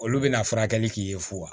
Olu bɛna furakɛli k'i ye fuwa